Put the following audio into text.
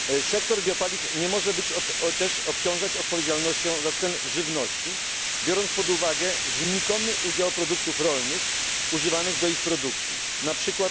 Sektor biopaliw nie może też być obciążany odpowiedzialnością za ceny żywności, biorąc pod uwagę znikomy udział produktów rolnych używanych do jej produkcji,